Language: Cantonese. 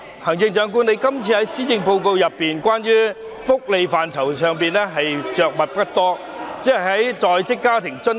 行政長官，在這份施政報告中，你對福利範疇着墨不多，只是就在職家庭津貼......